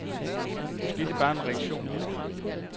Måske er det bare en reaktion på det hele.